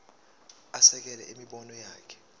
asekele imibono yakhe